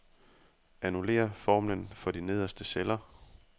Annullér formlen for de nederste celler.